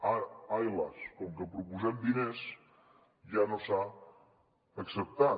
ai las com que proposem diners ja no s’ha acceptat